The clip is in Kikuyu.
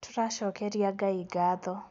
Tũracokeria Ngai gatho